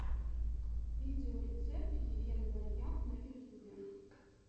видеорецепт елены вальяк на ютюбе